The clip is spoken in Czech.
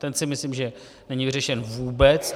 Ten si myslím, že není vyřešen vůbec.